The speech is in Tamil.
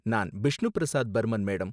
நான் பிஷ்ணு பிரசாத் பர்மன், மேடம்.